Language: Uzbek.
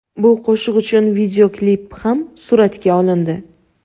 Bu qo‘shiq uchun videoklip ham suratga olindi.